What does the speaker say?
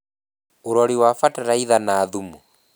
Ũrori wa Bataraitha na thumu.